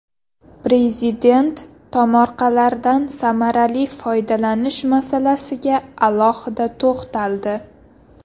Prezident tomorqalardan samarali foydalanish masalasiga alohida to‘xtaldi.